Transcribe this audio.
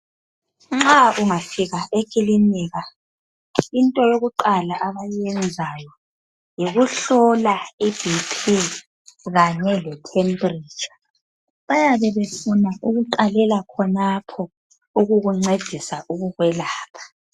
Nxa ungafika ekilinika into yokuqala abayiyenzayo yikuhlola iBP kanye lethempiritsha. Bayabe befuna ukuqela khonapho ukukuncedisa ukukwelapha.